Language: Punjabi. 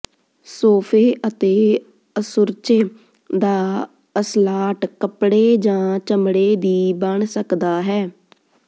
ਸੋਫੇ ਅਤੇ ਅਸੁਰਚੇ ਦਾ ਅਸਲਾਟ ਕੱਪੜੇ ਜਾਂ ਚਮੜੇ ਦੀ ਬਣ ਸਕਦਾ ਹੈ